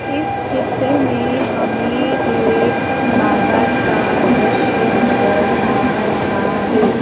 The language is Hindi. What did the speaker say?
इस चित्र में हमें एक बाजार का दृश्य नजर आ रहा है।